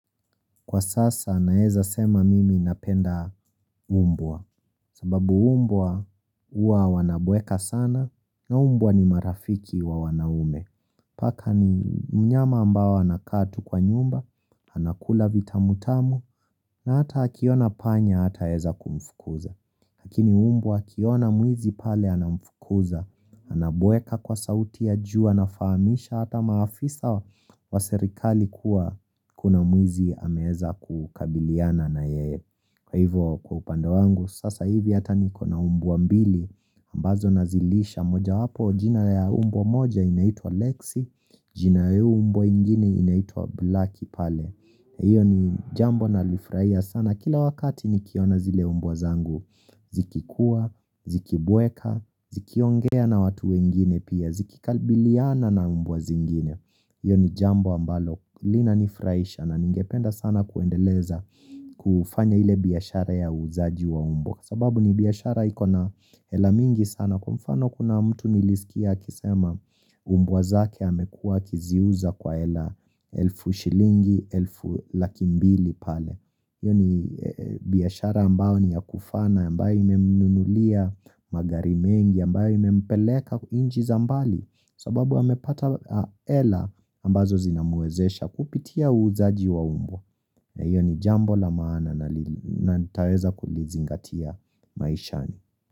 Kwa sasa naeza sema mimi napenda mbwa sababu mbwa huwa wanabweka sana na mbwa ni marafiki wa wanaume. Paka ni mnyama ambao anakaa tu kwa nyumba, anakula vita mutamu na hata akiona panya hataeza kumfukuza. Lakini mbwa akiona mwizi pale anamfukuza, anabweka kwa sauti ya juu, anafahamisha hata maafisa wa serikali kuwa kuna mwizi anaeza kukabiliana na yeye, kwa hivyo kwa upande wangu, sasa hivi hata nikona mbwa mbili, ambazo nazilisha moja wapo, jina ya mbwa moja inaitwa Lexi, jina ya mbwaingine inaitwa Blacki pale Iyo ni jambo na lifurahia sana. Kila wakati nikiona zile mbwa zangu. Zikikua, zikibweka, zikiongea na watu wengine pia. Zikikabiliana na mbwa zingine. Iyo ni jambo ambalo. Lina nifurahisha na ningependa sana kuendeleza kufanya ile biashara ya uuzaji wa mbwa. Sababu ni biashara ikona hela mingi sana kwa mfano kuna mtu nilisikia akisema mbwa zake amekua akiziuza kwa hela elfu shilingi, elfu lakimbili pale Iyo ni biashara ambao ni ya kufana ambayo ime mnunulia magari mengi ambayo ime mpeleka nchi zambali sababu amepata hela ambazo zinamwezesha kupitia uzaji wa mbwa na hiyo ni jambo la maana na nitaweza kulizingatia maishani.